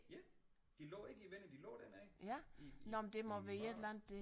Ja de lå ikke i vinduet de lå dernede i i i mørket